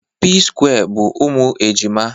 p square bu umunne ejima